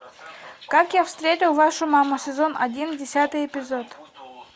как я встретил вашу маму сезон один десятый эпизод